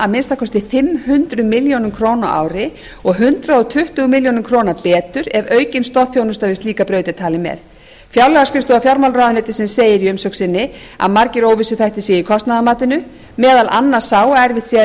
að minnsta kosti fimm hundruð milljóna króna á ári og hundrað tuttugu milljónir króna betur ef aukin stoðþjónusta við slíka braut er talinn með fjárlagaskrifstofa fjármálaráðuneytisins segir í umsögn sinni að margir óvissuþættir séu í kostnaðarmatinu meðal annars sá að erfitt sé að